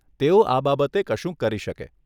તેઓ આ બાબતે કશુંક કરી શકે.